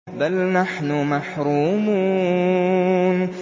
بَلْ نَحْنُ مَحْرُومُونَ